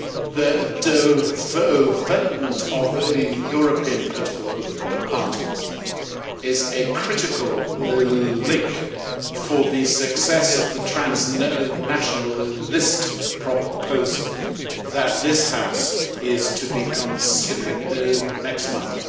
The development of European political parties is a critical link for the success of the transnational list proposal that this House is to be considering next month.